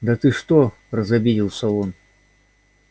да ты что разобиделся он